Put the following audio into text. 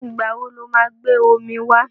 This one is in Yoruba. Ìgbà wo lo máa gbé omi wá?